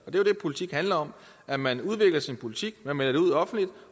jo det politik handler om at man udvikler sin politik man melder det ud offentligt